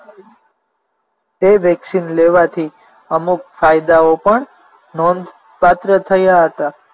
તે વેક્સિન લેવાથી અમુક ફાયદાઓ પણ નોંધપાત્ર થયા હતા